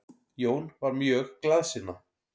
Jón var mjög glaðsinna.